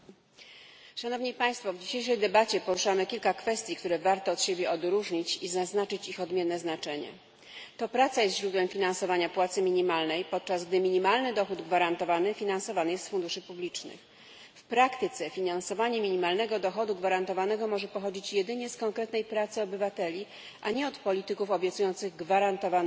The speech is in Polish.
Panie Przewodniczący! W dzisiejszej debacie poruszamy kilka kwestii, które warto od siebie odróżnić i zaznaczyć ich odmienne znaczenie. To praca jest źródłem finansowania płacy minimalnej, podczas gdy minimalny dochód gwarantowany finansowany jest z funduszy publicznych. W praktyce finansowanie minimalnego dochodu gwarantowanego może pochodzić jedynie z konkretnej pracy obywateli, a nie od polityków obiecujących gwarantowany dochód.